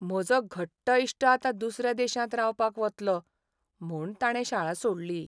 म्हजो घट्ट इश्ट आतां दुसऱ्या देशांत रावपाक वतलो, म्हूण ताणें शाळा सोडली.